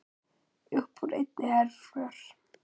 Uppúr einni herför